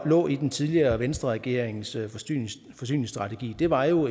lå i den tidligere venstreregerings forsyningsstrategi var jo